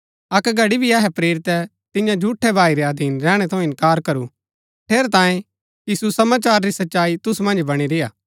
अक्क घड़ी भी अहै प्रेरितै तिन्या झूठै भाई रै अधीन रैहणै थऊँ इन्कार करू ठेरैतांये कि सुसमाचार री सच्चाई तुसु मन्ज बणी रेय्आ